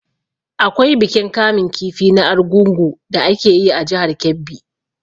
Akwai bikin kamun kifi na argungu da ake yi a jihar Kebbi.